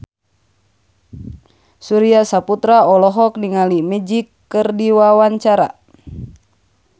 Surya Saputra olohok ningali Magic keur diwawancara